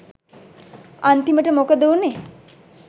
අන්තිමට මොකද වුනේ